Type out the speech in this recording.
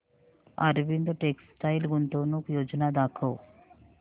Arvind textile गुंतवणूक योजना दाखव